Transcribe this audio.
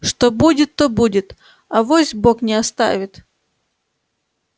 что будет то будет авось бог не оставит